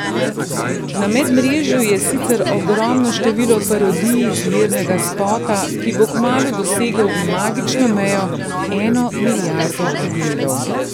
Na medmrežju je sicer ogromno število parodij izvirnega spota, ki bo kmalu dosegel magično mejo eno milijardo ogledov.